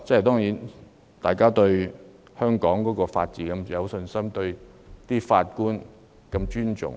大家對香港法治有信心，亦很尊重法官。